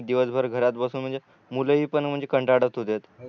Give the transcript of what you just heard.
हा तर ऑनलाईन शाळा आणि दिवस भर घरात बसून म्हणजे मुल हि पण म्हणजे कंटाळत होतेत